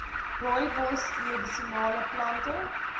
rooibos medisinale plante